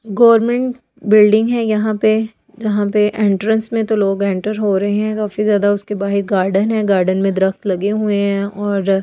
government building है यहाँ पे जहाँ पे एंट्रेंस में तो लोग एंटर हो रहे हैं काफी ज्यादा उसके बाहर गार्डन है गार्डन में दरख्त लगे हुए हैं और--